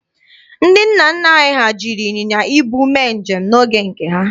Ndị nna nna anyị ha jiri ịnyịnya ibu mee njem n'oge ha.